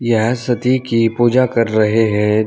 यह सती की पूजा कर रहे हैं।